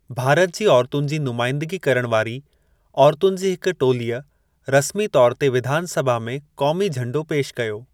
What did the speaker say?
भारत जी औरतुनि जी नुमाइदंगी करणु वारी औरतुनि जी हिकु टोलीअ रस्मी तौरु ते विधानसभा में क़ौमी झंडो पेशु कयो।